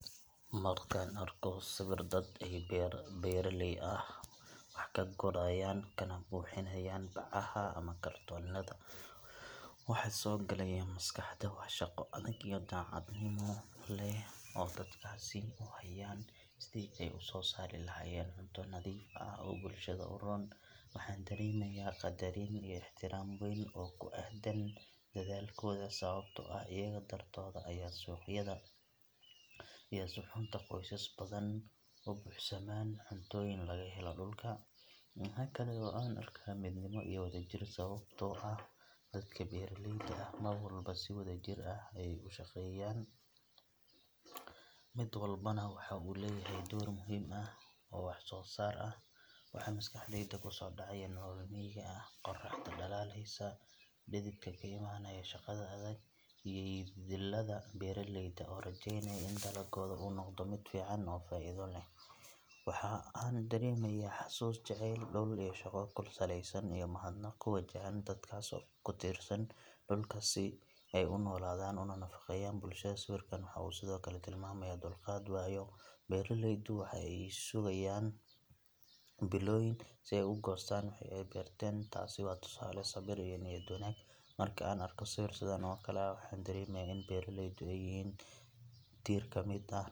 Markaan arko sawir ay dad beeraley ah wax ka gurayaan kana buuxinayaan bacaha ama kartoonnada, waxa i soo galaya maskaxda waa shaqo adag oo daacadnimo leh oo dadkaasi u hayaan sidii ay u soo saari lahaayeen cunto nadiif ah oo bulshada u roon. Waxaan dareemayaa qadarin iyo ixtiraam weyn oo ku aaddan dadaalkooda, sababtoo ah iyaga dartood ayaa suuqyada iyo suxuunta qoysas badan u buuxsamaan cuntooyin laga helo dhulka. Waxa kale oo aan arkaa midnimo iyo wadajir, sababtoo ah dadka beeraleyda ah mar walba si wadajir ah ayey u shaqeeyaan, mid walbana waxa uu leeyahay door muhiim ah oo wax soo saar ah. Waxa maskaxdayda ku soo dhacaya nolol miyiga ah, qorraxda dhalaalaysa, dhididka ka imanaya shaqada adag, iyo yididiilada beeraleyda oo rajaynaya in dalaggooda uu noqdo mid fiican oo faa’iido leh. Waxa aan dareemayaa xasuus, jacayl dhul iyo shaqo ku salaysan, iyo mahadnaq ku wajahan dadkaas ku tiirsan dhulka si ay u noolaadaan una nafaqeeyaan bulsho dhan. Sawirkan waxa uu sidoo kale tilmaamayaa dulqaad, waayo beeraleydu waxa ay sugayaan bilooyin si ay u goostaan wixii ay beerteen. Taasi waa tusaale sabir iyo niyad wanaag leh. Marka aan arko sawir sidan oo kale ah, waxaan dareemayaa in beeraleydu ay yihiin tiir ka mid ah.